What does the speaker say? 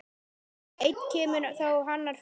Einn kemur þá annar fer.